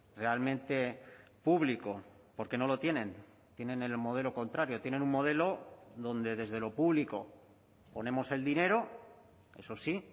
realmente público porque no lo tienen tienen el modelo contrario tienen un modelo donde desde lo público ponemos el dinero eso sí